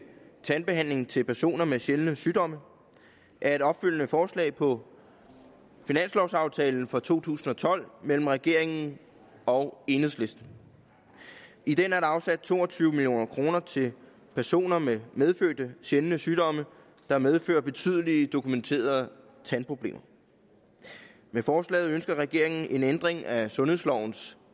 tandbehandling til personer med sjældne sygdomme er et opfølgende forslag på finanslovaftalen for to tusind og tolv mellem regeringen og enhedslisten i den er der afsat to og tyve million kroner til personer med medfødte sjældne sygdomme der medfører betydelige dokumenterede tandproblemer med forslaget ønsker regeringen en ændring af sundhedslovens